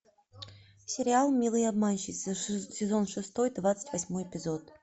сериал милые обманщицы сезон шестой двадцать восьмой эпизод